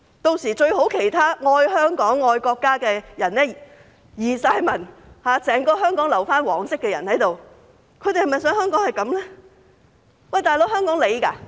屆時，其他愛香港、愛國家的人全部移民，整個香港只剩下"黃色"的人，他們是否想香港這樣？